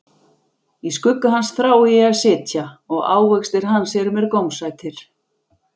Í skugga hans þrái ég að sitja, og ávextir hans eru mér gómsætir.